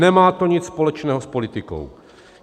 Nemá to nic společného s politikou.